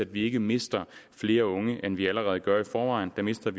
vi ikke mister flere unge end vi allerede gør i forvejen vi mister